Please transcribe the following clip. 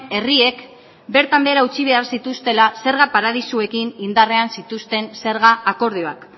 herriek bertan behera utzi behar zituztela zerga paradisuekin indarrean zituzten zerga akordioak